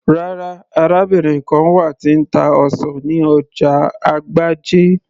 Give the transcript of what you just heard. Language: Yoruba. rárá, arábìnrin kan wà tí ń ta ọsàn ní ọjà agbájé